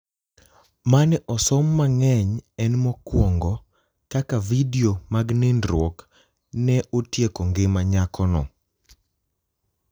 mane osom mangeny en mokuongo ,Kaka vidio mag nindruok ne otieko ngima mar nyako